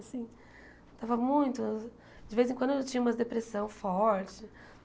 Assim estava muito... De vez em quando eu tinha umas depressão forte.